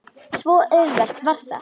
Svo auðvelt var það.